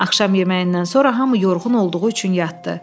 Axşam yeməyindən sonra hamı yorğun olduğu üçün yatdı.